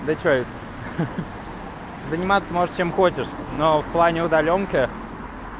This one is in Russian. начать заниматься может чем хочешь но в плане удаленки